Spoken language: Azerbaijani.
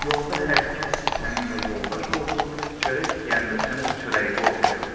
Yolda hər kəs ki səninlə yoldaş oldu, çörək yeyəndə sən öz çörəyivi ortaya qoy.